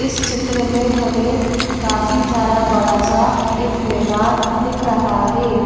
इस चित्र में हमें काफी सारा बड़ा सा एक मैदान दिख रहा है।